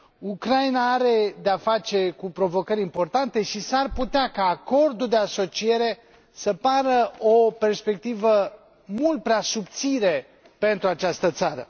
Ucraina are de a face cu provocări importante și s ar putea ca Acordul de asociere să pară o perspectivă mult prea subțire pentru această țară.